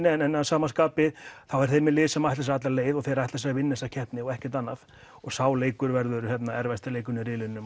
en að sama skapi eru þeir með lið sem ætlar sér alla leið og þeir ætla sér að vinna þessa keppni og ekkert annað sá leikur verður erfiðasti leikurinn í riðlinum